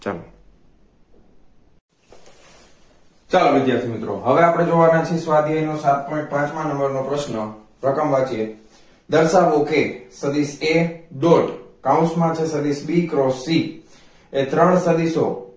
ચાલો વિદ્યાર્થી મિત્રો સ્વાધ્યાય નો સાત point પાંચમા number રકમ વાંચીયે દર્શાવો કે સદિશ a dot કોંસ મા છે સદિશ b cross c એ ત્રણ સદિશો